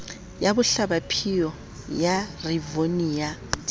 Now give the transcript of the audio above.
ya bohlabaphio ya rivonia di